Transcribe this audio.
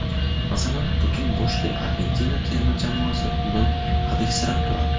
Masalan, butun boshli Argentina terma jamoasi undan hadiksirab turadi.